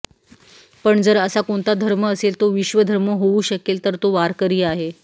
पण जर असा कोणता धर्म असेल तो विश्वधर्म होऊ शकेल तर तो वारकरी आहे